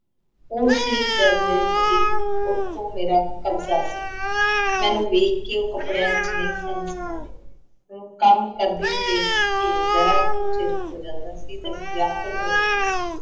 ਉੁਹ ਸੀ ਜਦ ਮੇਰੇ ਪਤੀ ਉਸਕੋਲ ਮੇਰਾ ਕਬਜ਼ਾ ਸੀ। ਮੈਨੂੰ ਵੇਖ ਕੇ ਉਹ ਕਪੜਿਆਂ ਚ ਨਹੀਂ ਸਨ ਸਮਾਉਂਦੇ, ਕੰਮ ਕਰਦੀ ਨੂੰ ਵੇਖਕੇ ਜ਼ਰਾ ਕੁੱਝ ਹੋ ਜਾਂਦਾ ਸੀ ਤਾਂ ਵਿਆਕੁਲ ਹੋ ਉੱਠਦੇ ਸੀ।